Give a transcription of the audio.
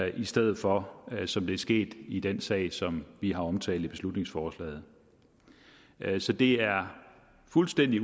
i stedet for det som er sket i den sag som vi har omtalt i beslutningsforslaget så det er fuldstændig